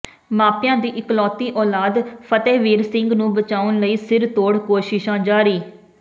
ਮਾਪਿਆਂ ਦੀ ਇਕਲੌਤੀ ਔਲਾਦ ਫਤਿਹਵੀਰ ਸਿੰਘ ਨੂੰ ਬਚਾਉਣ ਲਈ ਸਿਰਤੋੜ ਕੋਸ਼ਿਸ਼ਾਂ ਜਾਰੀ